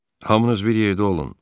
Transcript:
Hamınız bir yerdə olun.